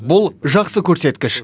бұл жақсы көрсеткіш